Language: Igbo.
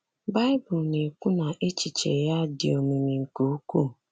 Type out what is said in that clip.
Baịbụl na-ekwu na echiche ya "dị omimi nke ukwuu."